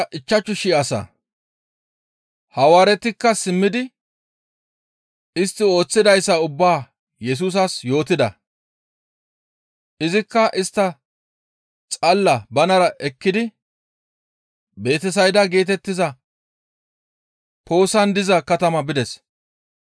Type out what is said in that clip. Hawaaretikka simmidi istti ooththidayssa ubbaa Yesusas yootida; izikka istta xalla banara ekkidi Betesayda geetettiza poossan diza katama bides.